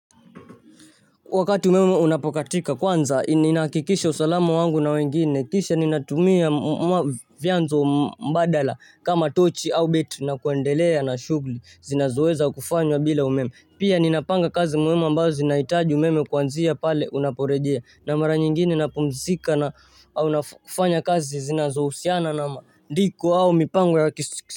Wakati umeme unapokatika kwanza nina hakikisha usalamu wangu na wengine kisha ninatumia vyanzo mbadala kama Tochi, Au mbetili na kuendelea na shughuli zinazoweza kufanywa bila umeme. Pia ninapanga kazi muhumi ambazo zinahitaji umeme kuanzia pale unaporejea na mara nyingine napumzika na nakufanya kazi zinazohusiana na ndiko au mipango ya kisik.